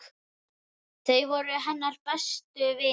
Þau voru hennar bestu vinir.